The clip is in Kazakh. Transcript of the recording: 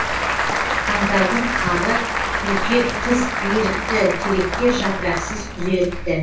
қаңтардың қары бүркеп қыз ерікті теректер жапырақсыз күзеріпті